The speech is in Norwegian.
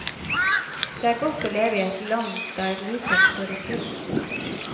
Det er godt å leve i et land der likhet står i fokus.